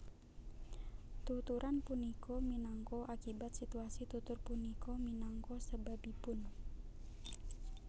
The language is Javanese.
Tuturan punika minangka akibat situasi tutur punika minangka sebabipun